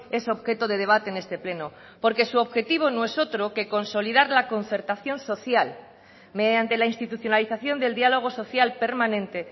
es objeto de debate en este pleno porque su objetivo no es otro que consolidar la concertación social mediante la institucionalización del diálogo social permanente